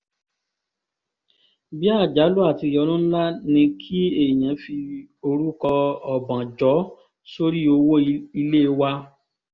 bí àjálù àti ìyọnu ńlá ni kí èèyàn fi orúkọ ọbànjọ́ sórí owó ilé wa